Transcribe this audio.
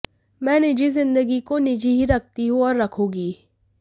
मैं निजी जिंदगी को निजी ही रखती हूं और रखूंगी